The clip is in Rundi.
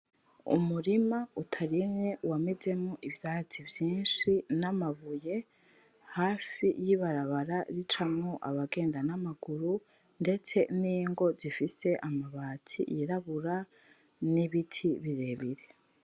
Umurima utaremye wamezemo ivyatsi vyishi namabuye hafi y'ibaraba ricamwo abagenda namaguru, ndetse n'ingo zifise amabati yirabura n'ibiti birebire.